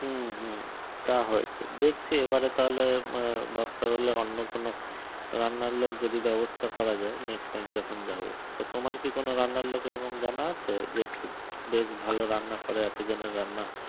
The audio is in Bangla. হুম হুম তা হয়েছে দেখছি এবারে তাহলে দরকার হলে অন্য কোন রান্নার লোক যদি ব্যবস্থা করা যায় next time যখন যাব তা তোমার কি কোন রান্নার লোক এরকম জানা আছে যে খুব বেশ ভালো রান্না করে এত জনের রান্না